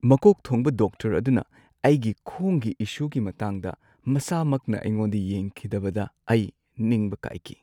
ꯃꯀꯣꯛ ꯊꯣꯡꯕ ꯗꯣꯛꯇꯔ ꯑꯗꯨꯅ ꯑꯩꯒꯤ ꯈꯣꯡꯒꯤ ꯏꯁꯨꯒꯤ ꯃꯇꯥꯡꯗ ꯃꯁꯥꯃꯛꯅ ꯑꯩꯉꯣꯟꯗ ꯌꯦꯡꯈꯤꯗꯕꯗ ꯑꯩ ꯅꯤꯡꯕ ꯀꯥꯏꯈꯤ꯫